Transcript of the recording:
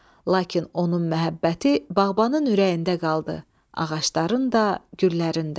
Lakin onun məhəbbəti bağbanın ürəyində qaldı: ağacların da, güllərin də.